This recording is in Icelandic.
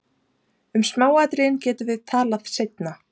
Um smáatriðin getum við talað seinna.